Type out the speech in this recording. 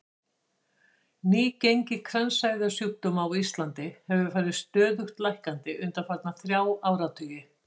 Nýgengi kransæðasjúkdóma á Íslandi hefur farið stöðugt lækkandi undanfarna þrjá áratugi.